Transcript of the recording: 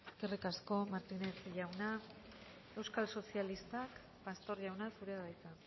eskerrik asko eskerrik asko martínez jauna euskal sozialistak pastor jauna zurea da hitza